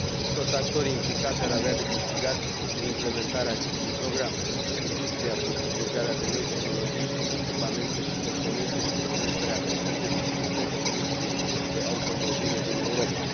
Toți actorii implicați ar avea de câștigat din implementarea acestui program industria prin furnizarea de noi tehnologii, echipamente și componente și prin creșterea competitivității industriei de automobile din Europa